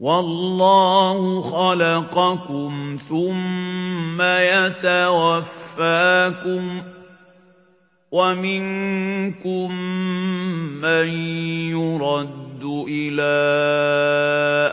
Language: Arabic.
وَاللَّهُ خَلَقَكُمْ ثُمَّ يَتَوَفَّاكُمْ ۚ وَمِنكُم مَّن يُرَدُّ إِلَىٰ